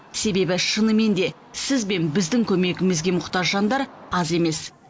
себебі шынымен де сіз бен біздің көмегімізге мұқтаж жандар аз емес